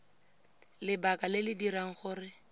lebaka le le dirang gore